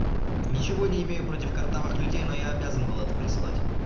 ничего не имею против картавых людей но я обязан был это прислать